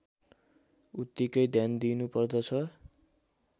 उत्तिकै ध्यान दिइनुपर्दछ